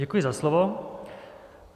Děkuji za slovo.